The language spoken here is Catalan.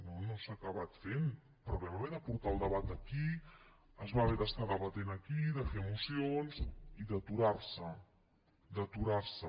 no no s’ha acabat fent però vam haver de portar el debat aquí es va haver d’estar debatent aquí de fer mocions i d’aturar se d’aturar se